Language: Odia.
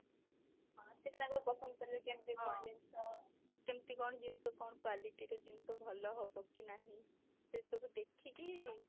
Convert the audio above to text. ହଁ ସେଇଟା ତାଙ୍କର ପସନ୍ଦ କରିବେ କେମିତି କଣ ଜିନିଷ କେମିତି କଣ ଜିନିଷ କଉ quality ର ଜିନିଷ ଭଲ ହବ କି ନାହିଁ ସେ ସବୁ ଦେଖିକି